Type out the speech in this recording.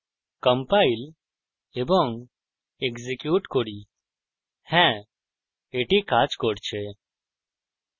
compile এবং execute করি হ্যা এটি কাজ করছে